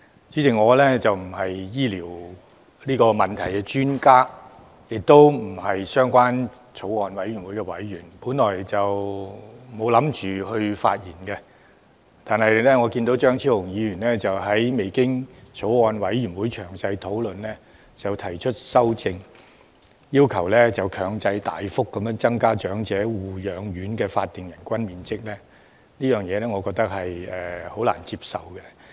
主席，我並非醫療問題的專家，亦不是相關法案委員會的委員，本來沒打算發言，但我看到張超雄議員未經法案委員會詳細討論便提出修正案，要求大幅增加長者護養院的法定最低人均樓面面積，我覺得難以接受。